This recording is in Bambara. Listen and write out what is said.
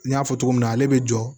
N y'a fɔ cogo min na ale bɛ jɔ